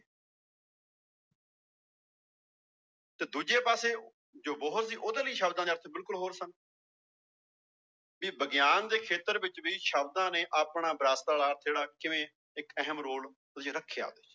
ਤੇ ਦੂਜੇ ਪਾਸੇ ਜੋ ਬੋਹਰ ਸੀ ਉਹਦੇ ਲਈ ਸ਼ਬਦਾਂ ਦੇ ਅਰਥ ਬਿਲਕੁਲ ਹੋਰ ਸਨ ਵੀ ਵਿਗਿਆਨ ਦੇ ਖੇਤਰ ਵਿੱਚ ਵੀ ਸ਼ਬਦਾਂ ਨੇ ਆਪਣਾ ਜਿਹੜਾ ਕਿਵੇਂ ਇੱਕ ਅਹਿਮ ਰੋਲ ਰੱਖਿਆ